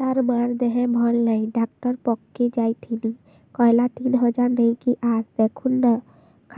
ତାର ମାର ଦେହେ ଭଲ ନାଇଁ ଡାକ୍ତର ପଖକେ ଯାଈଥିନି କହିଲା ତିନ ହଜାର ନେଇକି ଆସ ଦେଖୁନ ନା